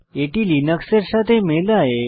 এটি লিনাক্স এর কেসের সাথে মেলায়